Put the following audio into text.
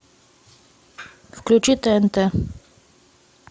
включи тнт